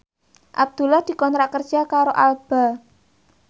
Abdullah dikontrak kerja karo Alba